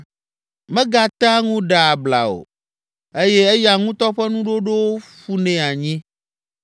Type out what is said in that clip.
Megatea ŋu ɖea abla o eye eya ŋutɔ ƒe nuɖoɖowo ƒunɛ anyi.